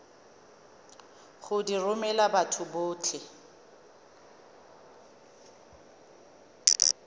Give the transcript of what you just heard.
go di romela batho botlhe